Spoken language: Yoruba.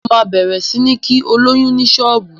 Mo ma bẹ̀rẹ̀ sí ń kí olóyún ní ṣọ́ọ̀bú